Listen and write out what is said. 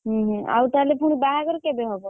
ହୁଁ ହୁଁ ଆଉ ତାହେଲେ ପୁଣି ବାହାଘର କେବେ ହବ?